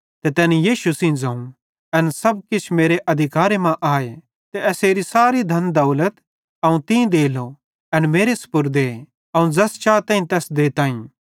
ते तैनी यीशु सेइं ज़ोवं एन सब किछ मेरे अधिकारे मां आए ते एसेरी सारी धन दौलत अवं तीं देलो एन मेरे स्पुर्दे अवं ज़ैस चाताईं तैस देई सकताईं